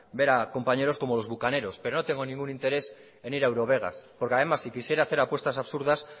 ver a compañeros como los bukaneros pero no tengo ningún interés en ir a eurovegas porque además si quisiera hacer apuestas absurdas